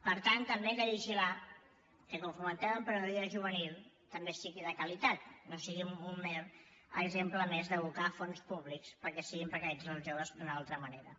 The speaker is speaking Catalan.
per tant també hem de vigilar que quan fomentem emprenedoria juvenil també sigui de qualitat no sigui un mer exemple més d’abocar fons públics perquè siguin precaritzats els joves d’una altra manera